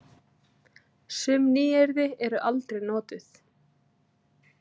Sum nýyrði eru aldrei notuð.